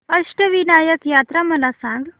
अष्टविनायक यात्रा मला सांग